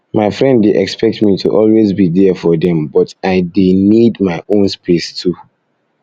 my friend dey expect me to always be there for dem but i dey um need my own um space too